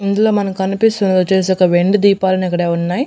ఇందులో మనకి కనిపిస్తుందొచ్చేసి ఒక వెండి దీపల్లాని అక్కడే ఉన్నాయి.